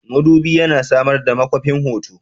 Madubi yana samar da makwafin hoto.